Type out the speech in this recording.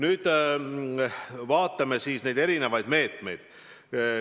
Aga vaatame siis neid erinevaid meetmeid.